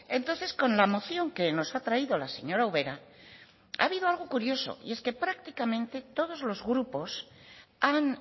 entonces con la moción que nos ha traído la señora ubera ha habido algo curioso y es que prácticamente todos los grupos han